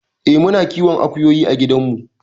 Eh muna kiwon akuyoyi a gidan mu.